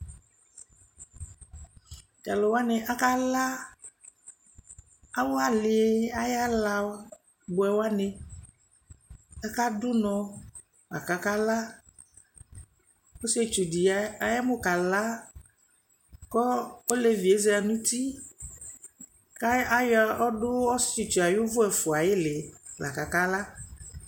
Tʋ alʋ wanɩ akala awʋ alɩ ayʋ ala bʋɛ wanɩ Akadʋ ʋnɔ la kʋ akala Ɔsɩetsu dɩ ayamʋ kala kʋ olevi yɛ za nʋ uti kʋ ayɔ ɔdʋ ɔsɩetsu yɛ ayʋ ʋvʋ ɛfʋa ayʋ ɩɩlɩ la kʋ akala